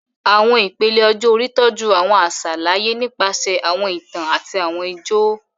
Awọn ipele ọjọ-ori tọju awọn aṣa laaye nipasẹ awọn itan ati awọn ijó